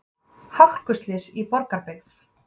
Hálkuslys í Borgarbyggð